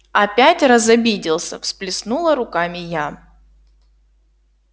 опять разобиделся всплеснула руками я